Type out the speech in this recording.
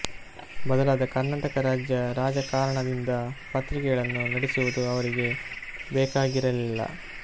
ಬದಲಾದ ಕರ್ನಾಟಕ ರಾಜ್ಯ ರಾಜಕಾರಣದಿಂದ ಪತ್ರಿಕೆಗಳನ್ನು ನಡೆಸುವುದು ಅವರಿಗೆ ಬೇಕಾಗಿರಲಿಲ್ಲ